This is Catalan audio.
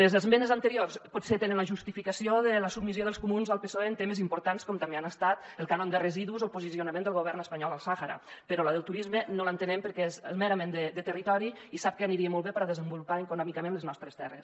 les esmenes anteriors potser tenen la justificació de la submissió dels comuns al psoe en temes importants com també han estat el cànon de residus o el posicionament del govern espanyol al sàhara però la del turisme no l’entenem perquè és merament de territori i sap que aniria molt bé per desenvolupar econòmicament les nostres terres